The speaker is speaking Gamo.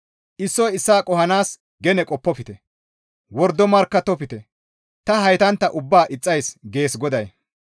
Issoy issaa qohanaas gene qoppofte; wordo markkattofte; ta haytantta ubbaa ixxays» gees GODAY.